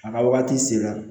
A ka wagati sera